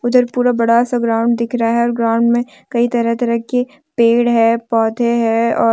इधर पूरा बड़ा सा ग्राउंड दिख रहा है ग्राउंड में कई तरह तरह के पेड़ हैं पौधे हैं और।